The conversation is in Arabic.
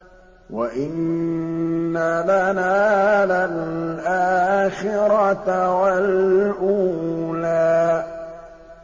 وَإِنَّ لَنَا لَلْآخِرَةَ وَالْأُولَىٰ